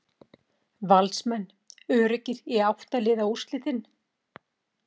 Valsmenn öruggir í átta liða úrslitin